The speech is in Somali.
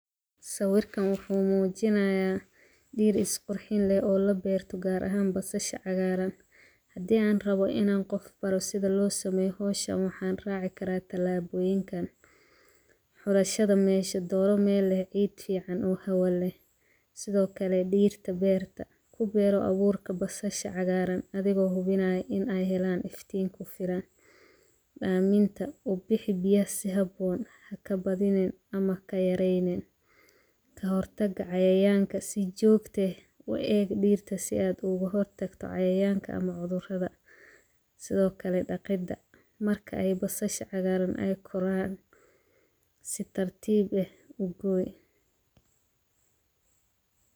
Sawirkan wuxuu mujinayaa beer isqurxin leh oo laberto, gar ahan basasha cagaran, waa in an qof baro sitha lo hagajiyo howshan, waxan raci karaa tilaboyinkan, xulashaada meshaa, xulo meel geed fican oo hawa leh, sithokale dirta berta kuber aburka bashaa cagaran athigo huwinaya in ee helan iftin siran, aminta, u bixi biyaha si haboon haka badinin ama haka yareynin, kahortaga cayayanka si jogta eh u egg dirtaa si aad oga hortagto cayayanka ama cudhuradaa, sithokale daqidha marki ee basasha cagaran ee koraan si tartiib ah ugooy.